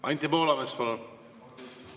Anti Poolamets, palun!